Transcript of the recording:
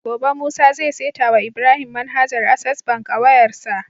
Gobe musa zai seta wa Ibrahim manhajar access bank a wayar sa